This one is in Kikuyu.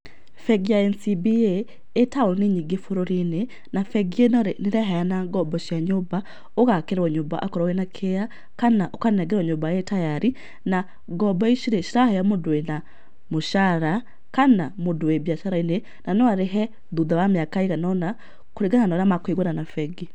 Bengi ya NCBA ĩ taũni nyingĩ bũrũri-inĩ, na bengi ĩno rĩ, nĩ ĩraheana ngombo cia nyũmba, ũgakĩrwo nyũmba akorwo wĩ na kĩeya, kana ũkanengerwo nyũmba ĩ tayari na ngombo ici rĩ, ciraheo mũndũ wĩ na mũcara, kana mũndũ wĩ biacara-inĩ na no arĩhe thutha wa mĩaka ĩigana ũna kũringana na ũrĩa makũiguana na bengi.